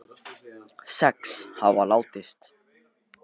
Sex hafa látist